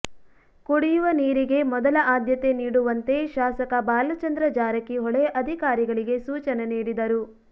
ಕುಡಿಯುವ ನೀರಿಗೆ ಮೊದಲ ಆದ್ಯತೆ ನೀಡುವಂತೆ ಶಾಸಕ ಬಾಲಚಂದ್ರ ಜಾರಕಿಹೊಳಿ ಅಧಿಕಾರಿಗಳಿಗೆ ಸೂಚನೆ ನೀಡಿದರು